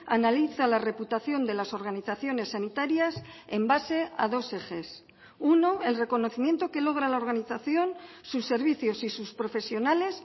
analiza la reputación de las organizaciones sanitarias en base a dos ejes uno el reconocimiento que logra la organización sus servicios y sus profesionales